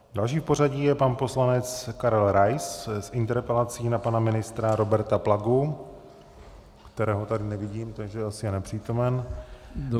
Další v pořadí je pan poslanec Karel Rais s interpelací na pana ministra Roberta Plagu, kterého tady nevidím, takže asi je nepřítomen.